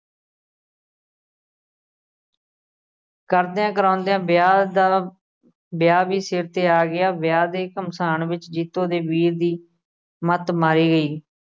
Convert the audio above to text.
ਕਰਦਿਆਂ ਕਰਾਉਂਦਿਆ ਵਿਆਹ ਦਾ, ਵਿਆਹ ਵੀ ਸਿਰ ਤੇ ਆ ਗਿਆ, ਵਿਆਹ ਦੇ ਘਮਸਾਨ ਵਿੱਚ ਜੀਤੋ ਦੇ ਵੀਰ ਦੀ ਮੱਤ ਮਾਰੀ ਗਈ।